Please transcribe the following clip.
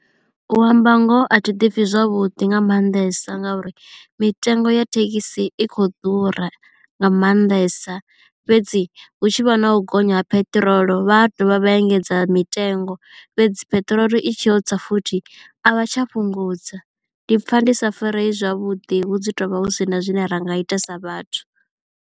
U amba ngoho a thi ḓipfhi zwavhuḓi nga maanḓesa nga uri mitengo ya thekhisi i khou ḓura nga maanḓesa fhedzi hu tshi vha na u gonya ha peṱirolo vha dovha vha engedza mitengo fhedzi peṱirolo i tshi yo tsa futhi a vha tsha fhungudza ndi pfha ndi sa farei zwavhuḓi hu dzi tovha hu sina zwine ra nga ita sa vhathu.